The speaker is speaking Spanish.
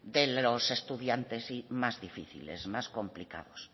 de los estudiantes más difíciles más complicados